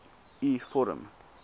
u vorm